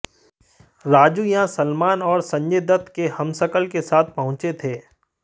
राजू यहां सलमान और संजय दत्त के हमशक्ल के साथ पहुंचे थे